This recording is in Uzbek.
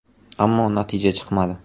Ammo natija chiqmadi.